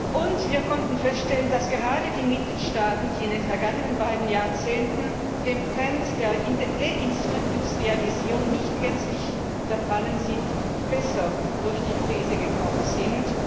Und wir konnten feststellen, dass gerade die Mitgliedstaaten, die in den vergangenen beiden Jahrzehnten dem Trend der Deindustrialisierung nicht gänzlich verfallen sind, besser durch die Krise gekommen sind.